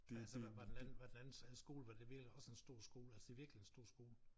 Altså var var den anden var den anden skole var det også en stor skole altså det virkelig en stor skole